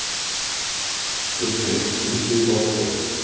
Burkni, hringdu í Borgþór.